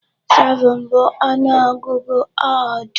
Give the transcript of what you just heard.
7 bụ ọnụ ọgụgụ odd.